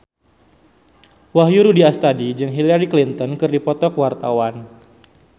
Wahyu Rudi Astadi jeung Hillary Clinton keur dipoto ku wartawan